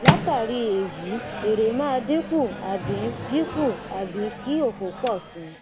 latari eyi ere maa dinku abi dinku abi ki ofo po si